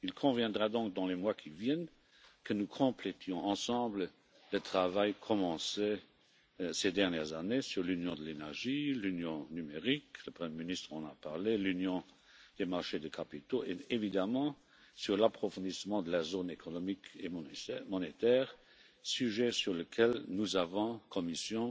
Il conviendra donc, dans les mois qui viennent, que nous complétions ensemble le travail commencé ces dernières années sur l'union de l'énergie, l'union numérique le Premier ministre en a parlé l'union des marchés de capitaux et évidemment sur l'approfondissement de la zone économique et monétaire, sujet sur lequel nous avons, à la Commission,